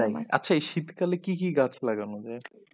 আচ্ছা এই শীতকালে কি কি গাছ লাগানো যাই?